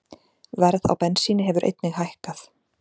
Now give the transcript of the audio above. Verð á bensíni hefur einnig hækkað